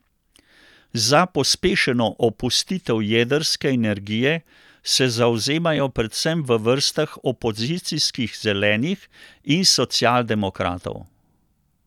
Za pospešeno opustitev jedrske energije se zavzemajo predvsem v vrstah opozicijskih zelenih in social demokratov.